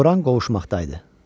Toranlıq qovuşmaqdaydı.